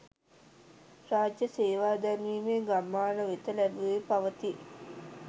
රාජ්‍ය සේවා දැන් මේ ගම්මාන වෙත ලැබෙමින් පවතී.